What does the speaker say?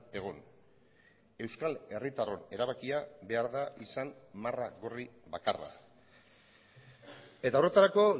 egon euskal herritarron erabakia behar da izan marra gorri bakarra eta horretarako